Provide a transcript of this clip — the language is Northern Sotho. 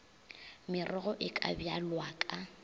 merogo e ka bjalwa ka